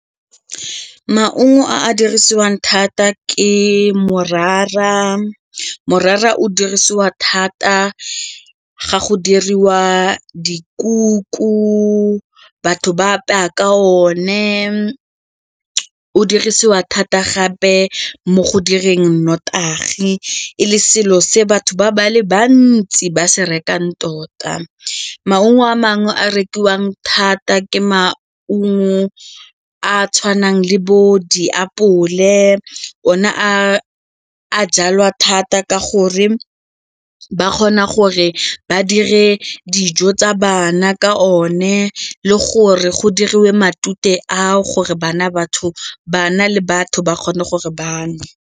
Maungo a a dirisiwang thata ke morara, morara o dirisiwa thata ga go diriwa dikuku batho ba apeya ka one, o dirisiwa thata gape mo go direng notagi e le selo se batho ba le bantsi ba se rekang tota. Maungo a mangwe a rekiwang thata ke maungo a tshwanang le bo diapole, one a a jalwa thata ka gore ba kgona gore ba dire dijo tsa bana ka one le gore go diriwe matute ao gore bana le batho ba kgone gore ba nwe.